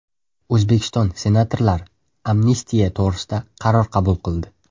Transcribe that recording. O‘zbekiston senatorlari amnistiya to‘g‘risida qaror qabul qildi.